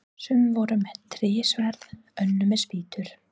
Sum voru með trésverð, önnur með spýtur.